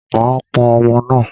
Màá pọn ọmọ náà.